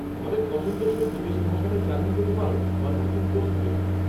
-তোমাদের পছন্দসই বিদেশী ভাষাটাই চালিয়ে যেতে পারো বা নতুন কোর্স নিতে পারো।